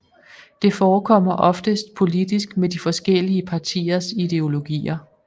Det forekommer oftest politisk med de forskellige partiers ideologier